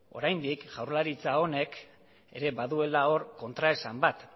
oraindik jaurlaritza honek ere baduela hor kontraesan bat